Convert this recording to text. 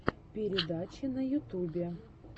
передачи на ютубе